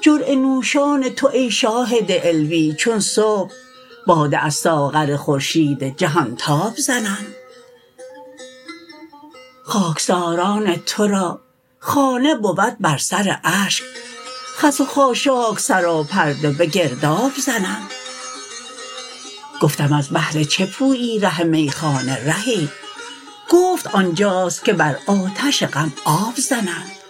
جرعه نوشان تو ای شاهد علوی چون صبح باده از ساغر خورشید جهان تاب زنند خاکساران ترا خانه بود بر سر اشک خس و خاشاک سراپرده به گرداب زنند گفتم از بهر چه پویی ره میخانه رهی گفت آنجاست که بر آتش غم آب زنند